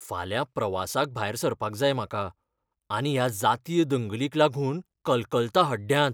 फाल्यां प्रवासाक भायर सरपाक जाय म्हाका आनी ह्या जातीय दंगलींक लागून कलकलता हड्ड्यांत.